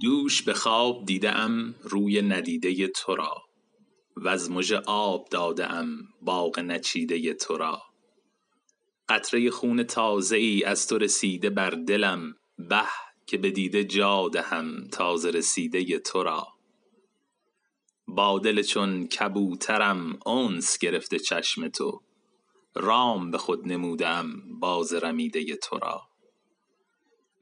دوش به خواب دیده ام روی ندیده تو را وز مژه آب داده ام باغ نچیده تو را قطره خون تازه ای از تو رسیده بر دلم به که به دیده جا دهم تازه رسیده تو را با دل چون کبوترم انس گرفته چشم تو رام به خود نموده ام باز رمیده تو را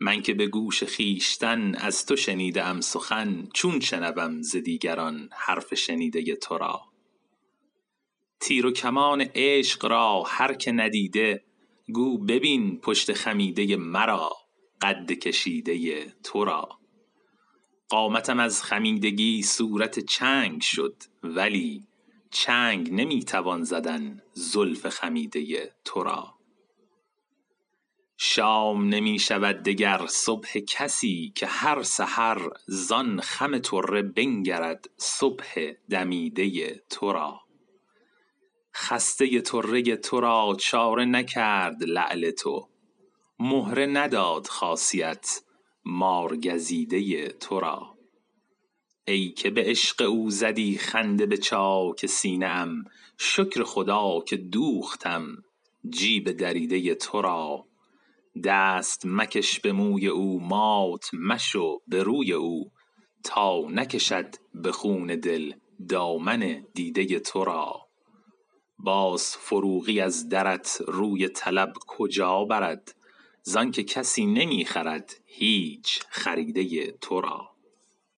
من که به گوش خویشتن از تو شنیده ام سخن چون شنوم ز دیگران حرف شنیده تو را تیر و کمان عشق را هر که ندیده گو ببین پشت خمیده مرا قد کشیده تو را قامتم از خمیدگی صورت چنگ شد ولی چنگ نمی توان زدن زلف خمیده تو را شام نمی شود دگر صبح کسی که هر سحر زان خم طره بنگرد صبح دمیده تو را خسته طره تو را چاره نکرد لعل تو مهره نداد خاصیت مارگزیده تو را ای که به عشق او زدی خنده به چاک سینه ام شکر خدا که دوختم جیب دریده تو را دست مکش به موی او مات مشو به روی او تا نکشد به خون دل دامن دیده تو را باز فروغی از درت روی طلب کجا برد زان که کسی نمی خرد هیچ خریده تو را